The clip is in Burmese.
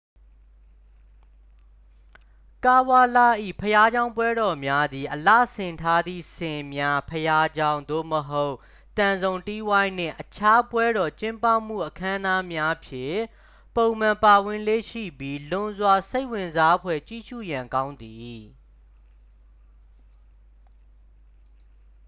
ကာဝလ ၏ ဘုရားကျောင်းပွဲတော်များသည် အလှဆင်ထားသည့် ဆင်များ ဘုရားကျောင်း သို့မဟုတ် သံစုံတီးဝိုင်းနှင့် အခြားပွဲတော်ကျင်းပမှုအခမ်းအနားများဖြင့် ပုံမှန်ပါဝင်လေ့ရှိပြီး လွန်စွာစိတ်ဝင်စားဖွယ် ကြည့်ရှုရန်ကောင်းသည်